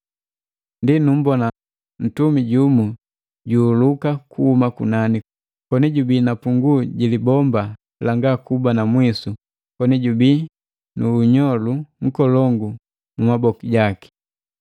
Ndi numbona ntumi jumu ju juhuluka kuhuma kunani koni jubi na punguu ji libomba langa kuba na mwisu koni jubii nu nnyolu nkolongu mu maboku gaki.